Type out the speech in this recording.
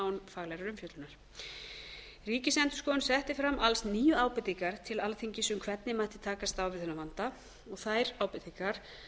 án faglegrar umfjöllunar ríkisendurskoðun setti fram alls níu ábendingar til alþingis um hvernig mætti takast á við þennan vanda og þær ábendingar